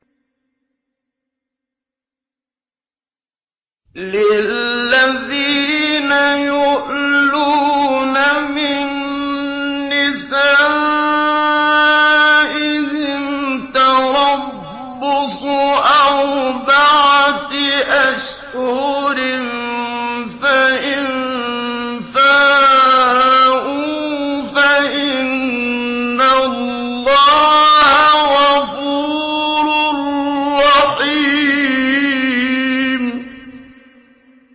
لِّلَّذِينَ يُؤْلُونَ مِن نِّسَائِهِمْ تَرَبُّصُ أَرْبَعَةِ أَشْهُرٍ ۖ فَإِن فَاءُوا فَإِنَّ اللَّهَ غَفُورٌ رَّحِيمٌ